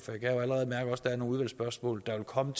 der er nogle udvalgsspørgsmål der vil komme